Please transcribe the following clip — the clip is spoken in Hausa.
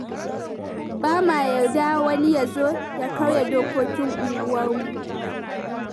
Ba ma yarda wani ya zo ya karya dokokin unguwarmu.